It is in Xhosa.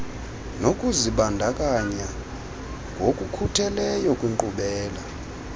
nokuzibandakanya ngokukhutheleyo kwinkqubela